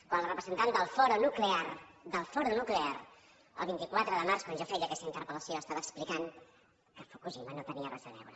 quan la representant del foro nuclear el vint quatre de març quan jo feia aquesta interpel·lació estava explicant que fukushima no hi tenia res a veure